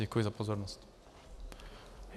Děkuji za pozornost.